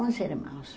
Onze irmãos.